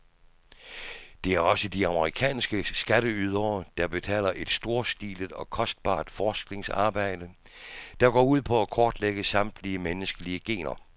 Det er også de amerikanske skatteydere, der betaler et storstilet og kostbart forskningsarbejde, der går ud på at kortlægge samtlige menneskelige gener.